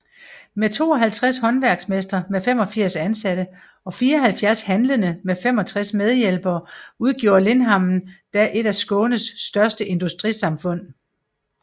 Med 52 håndværksmestre med 85 ansatte og 74 handlende med 65 medhjælpere udgjorde Limhamn da et af Skånes største industrisamhfund